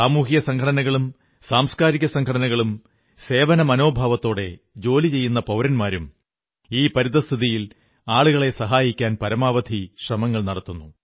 സാമൂഹിക സംഘടനകളും സാംസ്കാരിക സംഘടനകളും സേവന മനോഭാവത്തോടെ ജോലി ചെയ്യുന്ന പൌരന്മാരും ഈ പരിതസ്ഥിതിയിൽ ആളുകളെ സഹായിക്കാൻ പരമാവധി ശ്രമങ്ങൾ നടത്തുന്നു